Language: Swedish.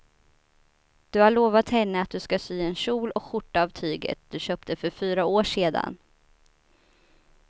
Du har lovat henne att du ska sy en kjol och skjorta av tyget du köpte för fyra år sedan.